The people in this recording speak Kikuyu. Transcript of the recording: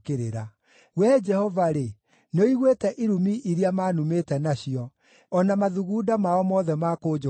Wee Jehova-rĩ, nĩũiguĩte irumi iria manumĩte nacio, o na mathugunda mao mothe ma kũnjũkĩrĩra: